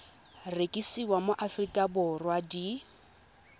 rekisiwa mo aforika borwa di